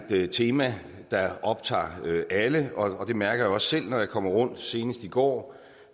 det er et tema der optager alle og det mærker jeg også selv når jeg kommer rundt senest i går